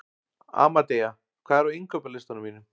Amadea, hvað er á innkaupalistanum mínum?